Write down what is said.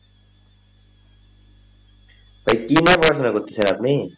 তো পড়াশোনা করতেছেন আপনি?